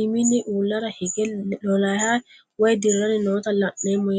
imini ulara hige lolahay woyi diran noota la'nemo yaate